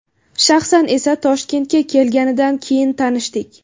Shaxsan esa, Toshkentga kelganidan keyin tanishdik.